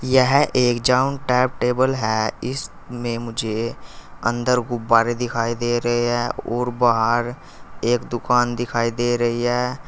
यह एक town table है इसमें मुझे अंदर गुब्बारे दिखाई दे रहे हैं और बाहर एक दुकान दिखाई दे रही है।